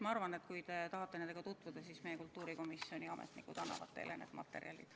Ma arvan, et kui te tahate nendega tutvuda, siis meie kultuurikomisjoni ametnikud annavad teile need materjalid.